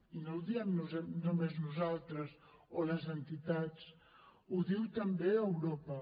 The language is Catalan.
i no ho diem només nosaltres o les entitats ho diu també europa